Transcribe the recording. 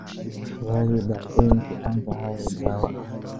raadi dhacdooyinkii caanka ahaa ee dhawaa